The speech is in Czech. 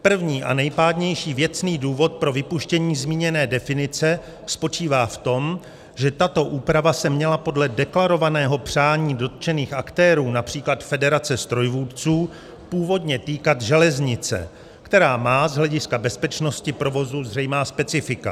První a nejpádnější věcný důvod pro vypuštění zmíněné definice spočívá v tom, že tato úprava se měla podle deklarovaného přání dotčených aktérů, například federace strojvůdců, původně týkat železnice, která má z hlediska bezpečnosti provozu zřejmá specifika.